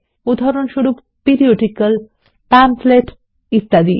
উদাহরণস্বরূপ periodical pamphlet ইত্যাদি